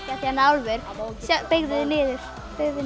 álfur beygðu þig niður beygðu